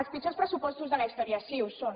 els pitjors pressupostos de la història sí ho són